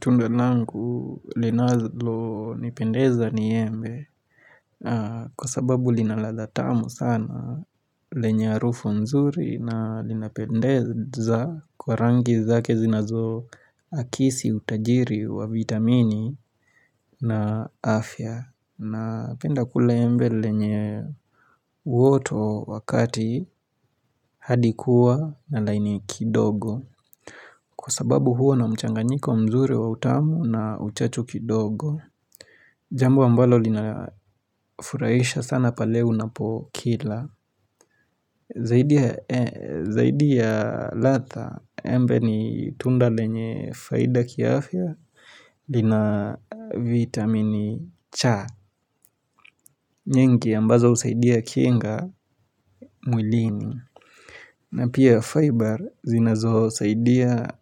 Tunda langu linalo nipendeza ni embe kwa sababu linaladhatamu sana lenye harufu nzuri na linapendeza kwa rangi zake zinazo akisi utajiri wa vitamini na afya na penda kula embe lenye uoto wakati hadikuwa na laini kidogo Kwa sababu huwa na mchanganyiko mzuri wa utamu na uchachu kidogo Jambo ambalo lina furahisha sana pale unapokila Zaidi ya ladha embe ni tunda lenye faida kiafia lina vitamini cha nyingi ambazo husaidia kinga mwilini na pia fiber zinazosaidia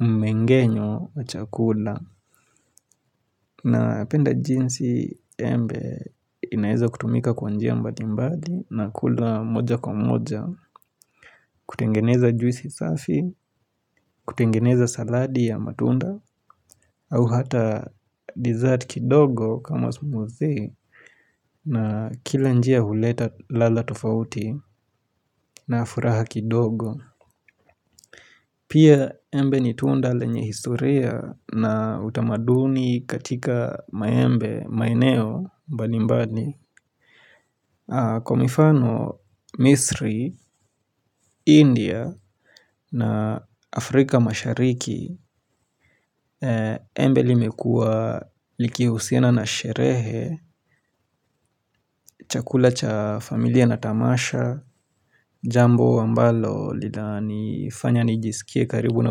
mmengenyo wa chakula na penda jinsi embe inaweza kutumika kwanjia mbali mbali na kula moja kwa moja, kutengeneza juisi safi, kutengeneza saladi ya matunda, au hata dessert kidogo kama smoothie na kila njia huleta ladha tofauti na furaha kidogo. Pia embe ni tunda lenye historia na utamaduni katika maembe, maeneo mbali mbali. Kwa mifano, misri, India na Afrika mashariki, embe limekua likihusina na sherehe chakula cha familia na tamasha, jambo ambalo linani fanya nijisikie karibu na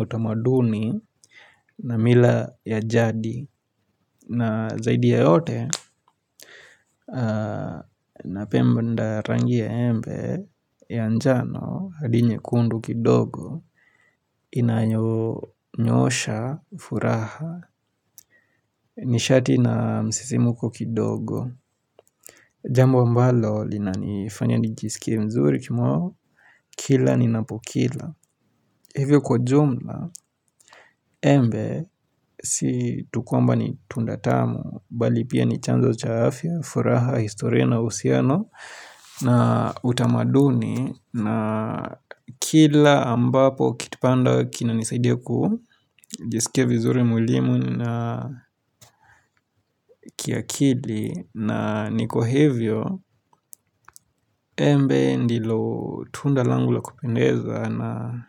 utamaduni na mila ya jadi. Na zaidi ya yote, na penda rangi ya embe, ya njano, had nyekundu kidogo, inanyoonyosha, furaha, nishati na msisimuko kidogo. Jambo ambalo, lina nifanya nijisikie mzuri kimoyo, kila nina pokila. Hivyo kwa jumla, embe, si tukwamba ni tundatamu, bali pia ni chanzo chaafya, furaha, historia na, uhusiano, na utamaduni, na kila ambapo kitipanda kinanisaidia ku, jisikie vizuri mwilini na kiakili, na nikwa hivyo, embe ndilo tundalangu la kupendeza na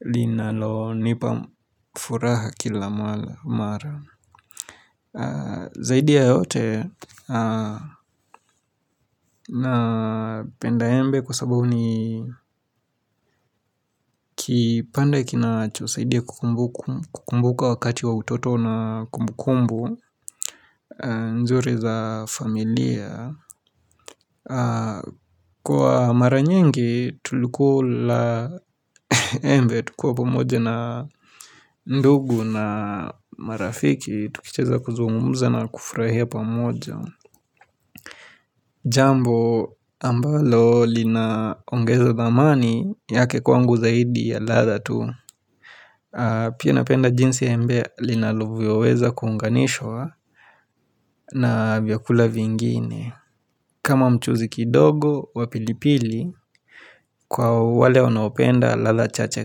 linalo nipa furaha kila mara. Zaidi ya yote na penda embe kwa sababu ni kipande kinacho saidia kukumbuka wakati wa utoto na kumbukumbu nzuri za familia Kwa maranyingi tulikula embe tukiwa pamoja na ndugu na marafiki tukicheza kuzungumza na kufurahia pamoja Jambo ambalo linaongeza dhamani yake kwangu zaidi ya ladha tu Pia napenda jinsi embe linavyoweza kuunganishwa na vyakula vingine kama mchuzi kidogo wa pilipili kwa wale wanaopenda ladha chacha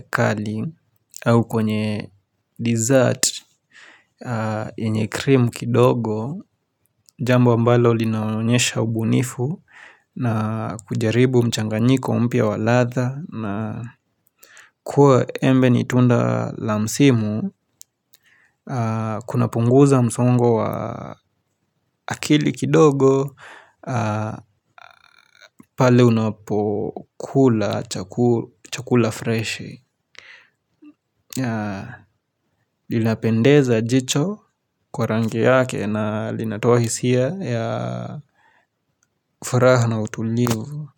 kali au kwenye dessert yenye cream kidogo Jambo ambalo linaonyesha ubunifu na kujaribu mchanganyiko mpya walatha na kuwa embe nitunda la msimu Kuna punguza msongo wa akili kidogo pale unapokula chakula fresh Linapendeza jicho kwa rangi yake na linatoa hisia ya furaha na utulivu.